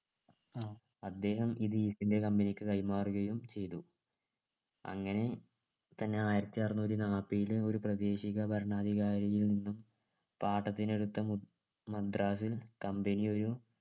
അദ്ദേഹം ഇത് east India company ക്ക് കൈമാറുകയും ചെയ്തു അങ്ങനെ തന്നെ ആയിരത്തി അറന്നൂറ്റി നാൽപ്പതിൽ ഉരു പ്രാദേശിക ഭരണാധികാരിയിൽ നിന്നും പാട്ടത്തിനെടുത്ത മദ് മദ്രാസിൽ company ഒരു